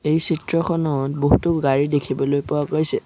এই চিত্ৰখনত বহুতো গাড়ী দেখিবলৈ পোৱা গৈছে।